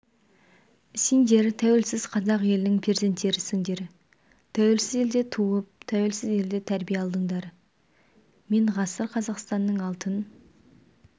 сендер тәуелсіз қазақ елінің перзенттерісіңдер тәуелсіз елде туып тәуелсіз елде тәрбие алдыңдар мен ғасыр қазақстанның алтын